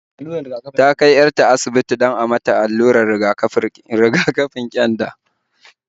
Ta kai 'yar ta asibiti don a mata allurar riga-kafin ƙyanda